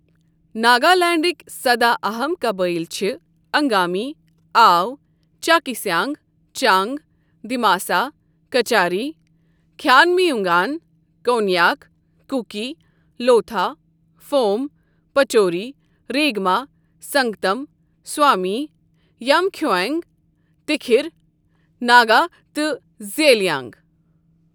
ناگالینڈٕکۍ سداہ اہم قبٲیل چھِ Angami, Ao, Chakhesang, Chang, Dimasa, Kachari, Khiamniungan, Konyak, Kuki, Lotha, Phom, Pochury, Rengma, Sangtam, Sumi, Yimkhiung, Tikhir Naga تہٕ زیلیانٛگ